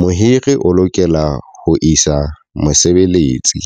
mohiri o lokela ho isa mosebeletsi.